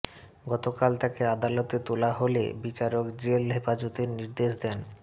গতকাল তাকে আদালতে তোলা হলে বিচারক জেল হেপাজতের নির্দেশ দেন